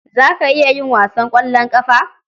Za ki iya yin wasan ƙwallon ƙafa?